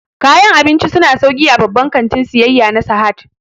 Kayan abinci su na sauƙi a babban kantin siyayya na Sahad